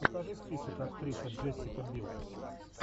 покажи список актриса джессика бил